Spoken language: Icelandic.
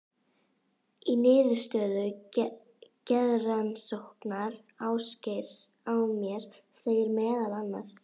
Í niðurstöðu geðrannsóknar Ásgeirs á mér segir meðal annars